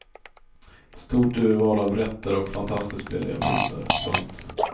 Stort urval av rätter och fantastiskt billiga priser. punkt